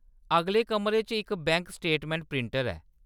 अगले कमरे च इक बैंक स्टेटमैंट प्रिंटर ऐ।